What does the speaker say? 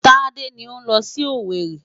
Tádé ni ó ń lọ sí Owerri.